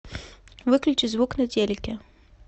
выключи звук на телике